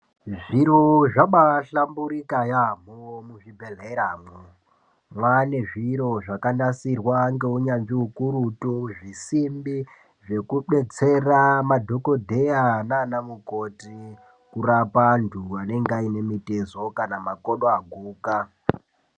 Zviro zvabaahlamburika yaamho muzvibhedhleramwo. Maanezviro zvakanasirwa ngeunyanzvi ukurutu, zvisimbi zvekudetsera madhogodheya nanamukoti kurapa antu anenge aine mitezo kana makodo aguka.